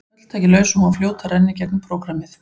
Öll tæki laus og hún var fljót að renna í gegnum prógrammið.